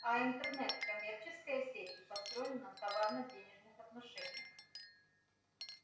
а интернет коммерческая сеть и построена на товарно-денежных отношениях